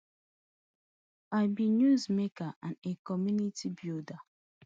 i be newsmaker and a community builder